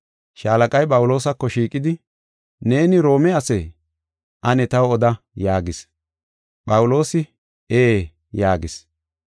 Shaalaqay Phawuloosako shiiqidi, “Neeni Roome asee? Ane taw oda” yaagis. Phawuloosi, “Ee” yaagis.